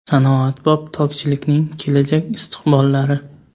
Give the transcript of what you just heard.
Sanoatbop tokchilikning kelajak istiqbollari.